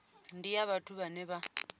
ndi ya vhathu vhane vha